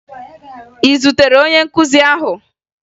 Ị zutere onye nkuzi ahụ?